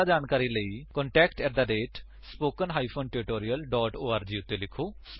ਜਿਆਦਾ ਜਾਣਕਾਰੀ ਦੇ ਲਈ ਕ੍ਰਿਪਾ contact at spoken hyphen tutorial dot org ਉੱਤੇ ਲਿਖੋ